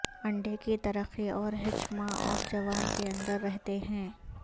انڈے کی ترقی اور ہچ ماں اور جوان کے اندر رہتے ہیں